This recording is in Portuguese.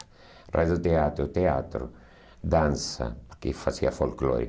Rádio teatro, teatro, dança, que fazia folclore.